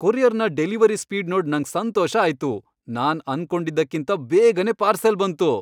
ಕೊರಿಯರ್ನ delivery speed ನೋಡ್ ನಂಗ್ ಸಂತೋಷ ಆಯ್ತು. ನಾನ್ ಅನ್ಕೊಂಡಿದ್ಕಿಂತ ಬೇಗನೆ ಪಾರ್ಸಲ್ ಬಂತು !